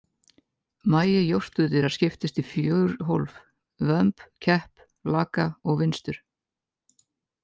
Magi jórturdýra skiptist í fjögur hólf, vömb, kepp, laka og vinstur.